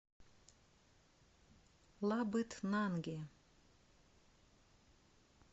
лабытнанги